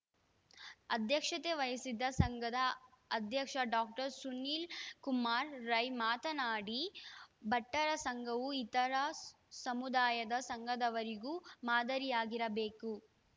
ಅಧ್ಯಕ್ಷತೆ ವಹಿಸಿದ್ದ ಸಂಘದ ಅಧ್ಯಕ್ಷ ಡಾಕ್ಟರ್ ಸುನೀಲ್‌ಕುಮಾರ್‌ ರೈ ಮಾತನಾಡಿ ಬಂಟರ ಸಂಘವು ಇತರ ಸಮುದಾಯದ ಸಂಘದವರಿಗೂ ಮಾದರಿಯಾಗಿರಬೇಕು